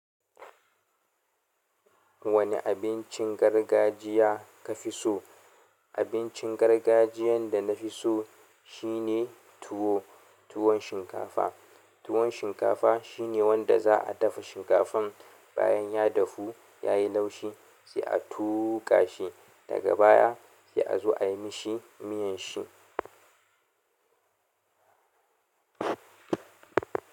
Wanne abincin gargajiya kafi so? Abincin gargajiyan da nafi so shine tuwo. Tuwon shinkafa. Tuwon shinkafa shine wanda za a dafa shinkafan bayan ya dafu, ya yi laushi sai a tuƙa shi daga baya sai a zo ayi mishi miyan shi.